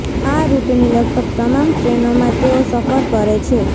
આ રૂટની લગભગ તમામ ટ્રેનોમાં તેઓ સફર કરે છે